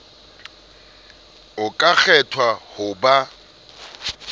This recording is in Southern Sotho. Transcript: o ka kgethwa ho ba